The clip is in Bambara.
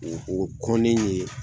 O o kɔn ni ye